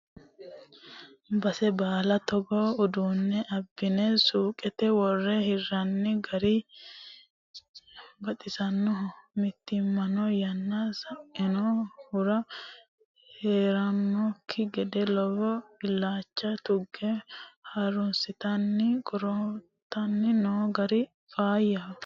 Base baalla togo uduune abbine suqete wore hiranni gari baxisanoho mootimmano yanna saino hiro heedhanokki gede lowo illacha tuge harunsittanni qorqortanni no gari faayyaho.